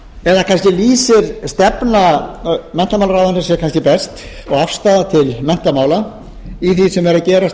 eða kannski lýsir stefna menntamálaráðherra sér best og afstaða til menntamála í því sem er að gerast